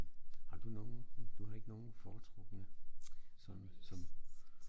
Har du nogen du har ikke nogen foretrukne sådan som